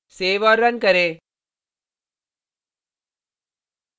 save औऱ run करें